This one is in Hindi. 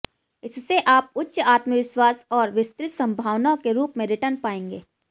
इससे आप उच्च आत्मविश्वास और विस्तृत संभावनाओं के रूप में रिटर्न पाएंगे